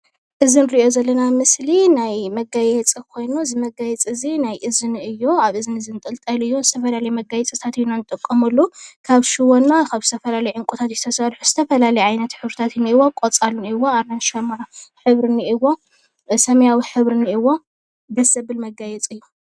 እዚ ንሪኦ ዘለና ምስሊ ናይ መጋየፂ ኮይኑ እዚ መጋየፂ እዚ ናይ እዝኒ እዩ፡፡ አብ እዝኒ ዝንጥልጠል እዩ፡፡ ዝተፈላለየ መጋየፂታት ኢና ንጥቀመሉ፡፡ ካብ ሽቦና ካብ ዝተፈላለየ ዕንቍታት እዩ ተሰሪሑ፡፡ ዝተፈላለየ ዓይነት ሕብሪታት አለዎ፡፡ ቆፃል እኒአዎ፣ አራንሺ ሕብሪ እኒአዎ፣ ሰማያዊ ሕብሪ እኒአዎ ፤ ደስ ዝብል መጋየፂ እዩ፡፡